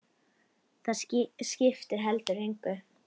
Það skipti heldur engu.